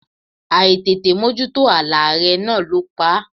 Àìtètè mójútó aláárẹ̀ náà ló pa á.